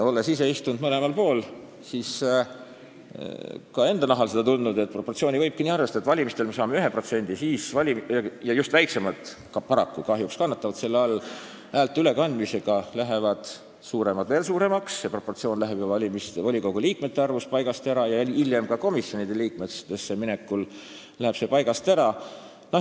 Olles ise istunud mõlemal pool, olen ka enda nahal seda tundnud, et proportsiooni võibki nii erinevalt arvestada: valimistel saadakse üks protsent ja siis – just väiksemad paraku kahjuks kannatavad selle all – häälte ülekandmisega lähevad suuremad veel suuremaks, volikogu liikmete proportsioon läheb paigast ära ja hiljem ka komisjonides läheb see paigast ära.